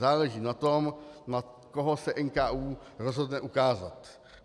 Záleží na tom, na koho se NKÚ rozhodne ukázat.